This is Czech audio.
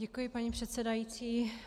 Děkuji, paní předsedající.